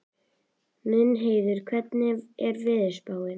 Mundheiður, hvernig er veðurspáin?